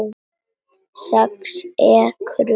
Sex ekrur og hús